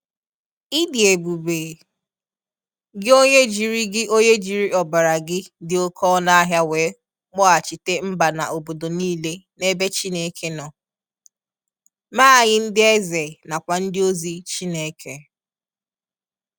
Ị dị ebube, gị onye jiri gị onye jiri ọbara gị dị oke ọnụ ahịa wee kpọghachite mba na obodo niile n'ebe Chineke nọ, mee anyị ndị eze nakwa ndị ozi Chineke.